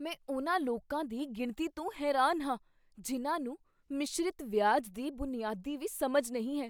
ਮੈਂ ਉਨ੍ਹਾਂ ਲੋਕਾਂ ਦੀ ਗਿਣਤੀ ਤੋਂ ਹੈਰਾਨ ਹਾਂ ਜਿਨ੍ਹਾਂ ਨੂੰ ਮਿਸ਼ਰਿਤ ਵਿਆਜ ਦੀ ਬੁਨਿਆਦੀ ਵੀ ਸਮਝ ਨਹੀਂ ਹੈ।